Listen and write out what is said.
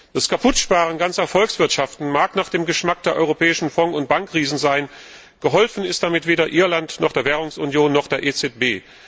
Das Kaputtsparen ganzer Volkswirtschaften mag nach dem Geschmack der europäischen Fonds und Bankriesen sein, geholfen ist damit weder Irland noch der Währungsunion und der EZB.